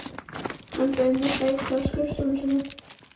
Hann bauð mér sæti á skrifstofunni sinni.